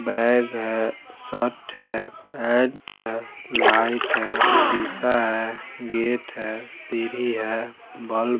bag है shirt है pant है लाइट है शीशा है गेट है सीढ़ी है बल्ब --